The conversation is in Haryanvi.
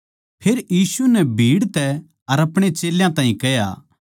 फेर यीशु नै भीड़ तै अर अपणे चेल्यां ताहीं कह्या